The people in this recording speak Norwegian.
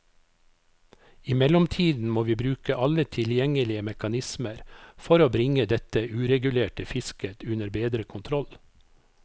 I mellomtiden må vi bruke alle tilgjengelige mekanismer for bringe dette uregulerte fisket under bedre kontroll.